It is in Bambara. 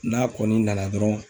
N'a kɔni nana dɔrɔn